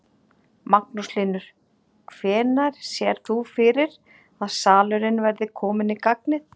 Magnús Hlynir: Hvenær sérð þú fyrir að salurinn verði kominn í gagnið?